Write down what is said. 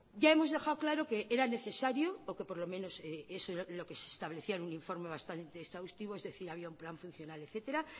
ya hemos dejado claro que era necesario orque por lo menos eso era lo que se establecía en un informe bastante exhaustivo es decir había un plan funcional etcétera